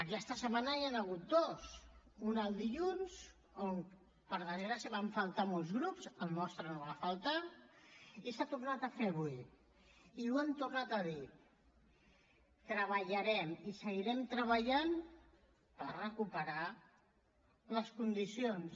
aquesta setmana n’hi han hagut dues una el dilluns on per desgràcia van faltar molts grups el nostre no va faltar i s’ha tornat a fer avui i ho hem tornat a dir treballarem i seguirem treballant per recuperar les condicions